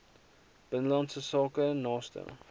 binnelandse sake naaste